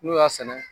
N'u y'a sɛnɛ